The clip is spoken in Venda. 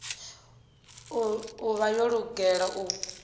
u vha yo lugela u